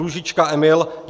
Růžička Emil